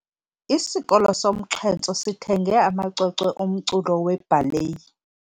Isikolo somxhentso sithenge amacwecwe omculo webhaleyi.